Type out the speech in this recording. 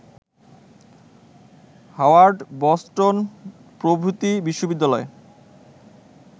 Howard, Boston প্রভৃতি বিশ্ববিদ্যালয়